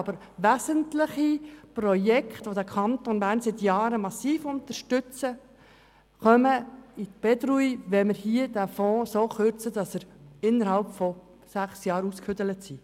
Aber wesentliche Projekte, die den Kanton Bern seit Jahren massiv unterstützen, geraten in Bedrängnis, wenn wir den Fonds dermassen kürzen, sodass er innerhalb von sechs Jahren aufgebraucht sein wird.